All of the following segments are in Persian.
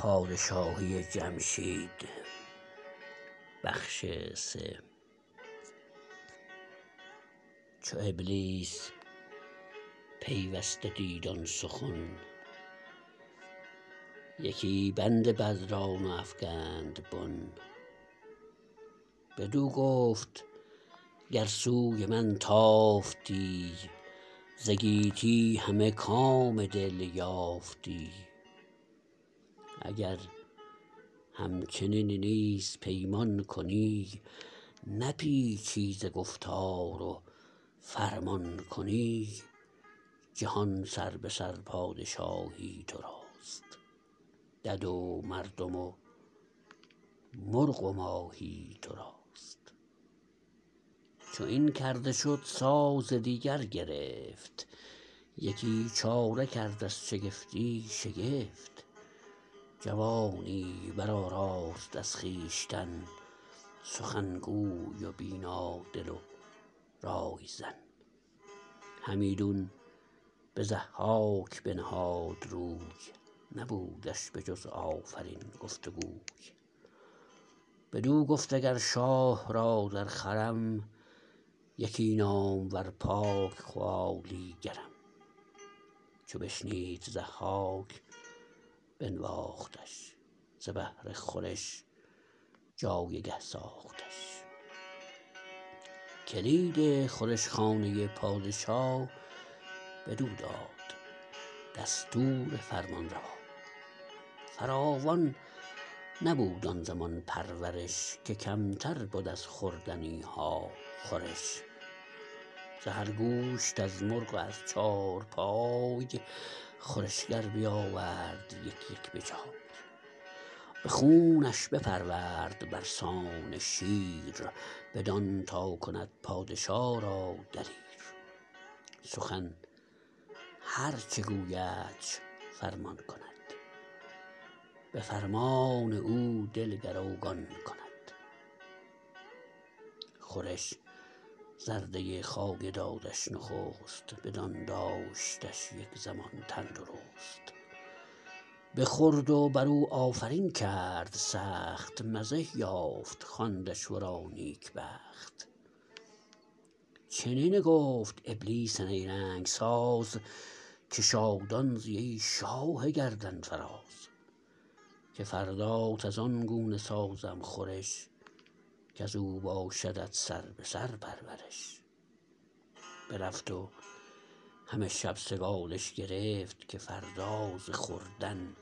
چو ابلیس پیوسته دید آن سخن یکی بند بد را نو افگند بن بدو گفت گر سوی من تافتی ز گیتی همه کام دل یافتی اگر همچنین نیز پیمان کنی نپیچی ز گفتار و فرمان کنی جهان سربه سر پادشاهی تو راست دد و مردم و مرغ و ماهی تو راست چو این کرده شد ساز دیگر گرفت یکی چاره کرد از شگفتی شگفت جوانی برآراست از خویشتن سخنگوی و بینا دل و رایزن همیدون به ضحاک بنهاد روی نبودش به جز آفرین گفت و گوی بدو گفت اگر شاه را در خورم یکی نامور پاک خوالیگرم چو بشنید ضحاک بنواختش ز بهر خورش جایگه ساختش کلید خورش خانه پادشا بدو داد دستور فرمانروا فراوان نبود آن زمان پرورش که کمتر بد از خوردنی ها خورش ز هر گوشت از مرغ و از چارپای خورشگر بیاورد یک یک به جای به خونش بپرورد بر سان شیر بدان تا کند پادشا را دلیر سخن هر چه گویدش فرمان کند به فرمان او دل گروگان کند خورش زرده خایه دادش نخست بدان داشتش یک زمان تندرست بخورد و بر او آفرین کرد سخت مزه یافت خواندش ورا نیک بخت چنین گفت ابلیس نیرنگ ساز که شادان زی ای شاه گردنفراز که فردات از آن گونه سازم خورش کز او باشدت سربه سر پرورش برفت و همه شب سگالش گرفت که فردا ز خوردن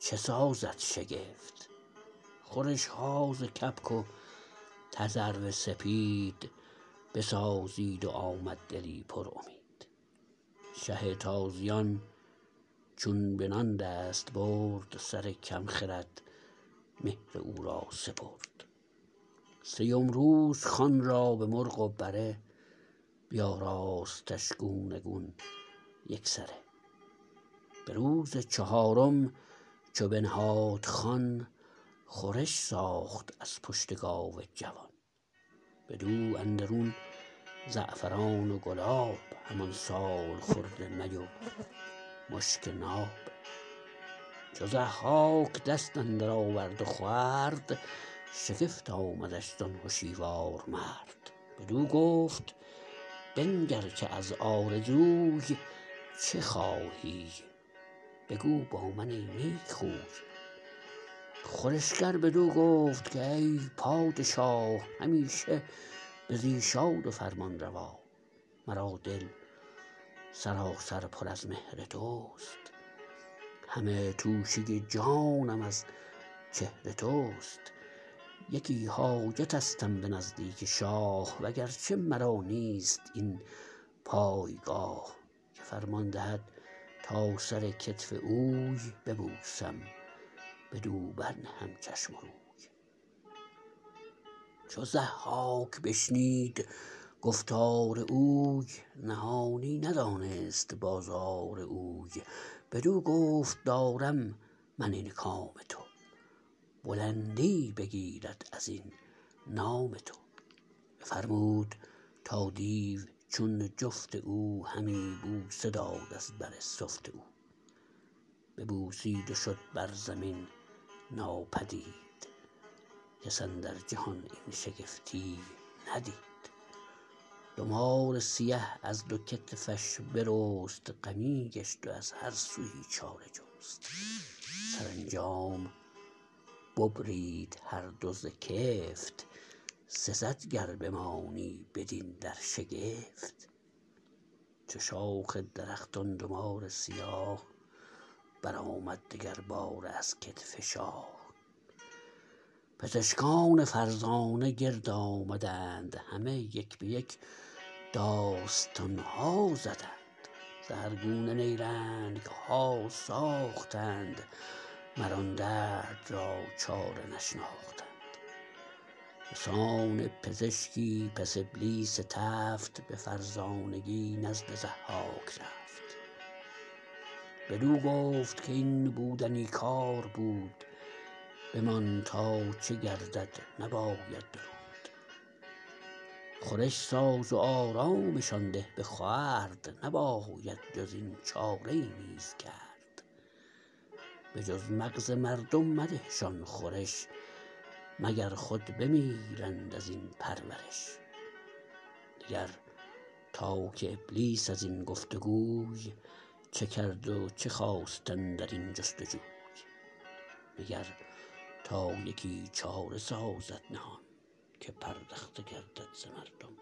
چه سازد شگفت خورش ها ز کبک و تذرو سپید بسازید و آمد دلی پر امید شه تازیان چون به نان دست برد سر کم خرد مهر او را سپرد سیم روز خوان را به مرغ و بره بیاراستش گونه گون یک سره به روز چهارم چو بنهاد خوان خورش ساخت از پشت گاو جوان بدو اندرون زعفران و گلاب همان سالخورده می و مشک ناب چو ضحاک دست اندر آورد و خورد شگفت آمدش زان هشیوار مرد بدو گفت بنگر که از آرزوی چه خواهی بگو با من ای نیک خوی خورشگر بدو گفت کای پادشا همیشه بزی شاد و فرمانروا مرا دل سراسر پر از مهر تو است همه توشه جانم از چهر تو است یکی حاجتستم به نزدیک شاه و گرچه مرا نیست این پایگاه که فرمان دهد تا سر کتف اوی ببوسم بدو بر نهم چشم و روی چو ضحاک بشنید گفتار اوی نهانی ندانست بازار اوی بدو گفت دارم من این کام تو بلندی بگیرد از این نام تو بفرمود تا دیو چون جفت او همی بوسه داد از بر سفت او ببوسید و شد بر زمین ناپدید کس اندر جهان این شگفتی ندید دو مار سیه از دو کتفش برست غمی گشت و از هر سویی چاره جست سرانجام ببرید هر دو ز کفت سزد گر بمانی بدین در شگفت چو شاخ درخت آن دو مار سیاه برآمد دگر باره از کتف شاه پزشکان فرزانه گرد آمدند همه یک به یک داستان ها زدند ز هر گونه نیرنگ ها ساختند مر آن درد را چاره نشناختند به سان پزشکی پس ابلیس تفت به فرزانگی نزد ضحاک رفت بدو گفت کاین بودنی کار بود بمان تا چه گردد نباید درود خورش ساز و آرامشان ده به خورد نباید جز این چاره ای نیز کرد به جز مغز مردم مده شان خورش مگر خود بمیرند از این پرورش نگر تا که ابلیس از این گفت وگوی چه کرد و چه خواست اندر این جستجوی مگر تا یکی چاره سازد نهان که پردخته گردد ز مردم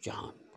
جهان